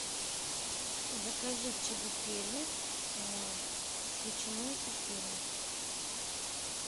закажи чебупели с ветчиной и сыром